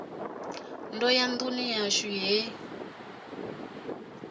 ndo ya nduni yashu he